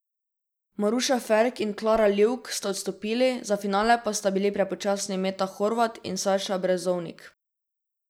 Maruša Ferk in Klara Livk sta odstopili, za finale pa sta bili prepočasni Meta Hrovat in Saša Brezovnik.